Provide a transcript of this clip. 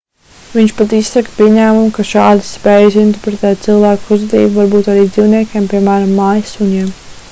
viņš pat izsaka pieņēmumu ka šādas spējas interpretēt cilvēku uzvedību var būt arī dzīvniekiem piemēram mājas suņiem